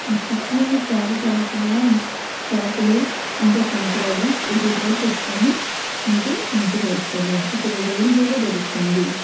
ఆ సిప్ లోని చాల చాల చాల సాపలు ఇంకా కంకర్రాళ్ళూ ఎటేటు కూడ తెచ్చుకొని మీరు ఉంచుగోల్సుతరు ఇక్కడ రైలు గూడ దొరుకుతుంది.